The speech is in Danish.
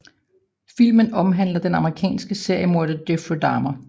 Filmen omhandler den amerikanske seriemorder Jeffrey Dahmer